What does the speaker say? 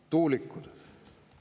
Tuulikud.